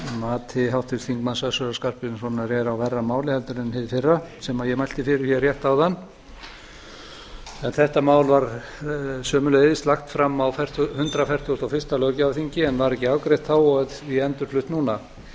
að mati háttvirts þingmanns össurar skarphéðinssonar er á verra máli heldur en hið fyrra sem ég mælti fyrir hér rétt áðan en þetta mál var sömuleiðis lagt fyrir á hundrað fertugasta og fyrsta löggjafarþingi en var ekki afgreitt þá og er því endurflutt núna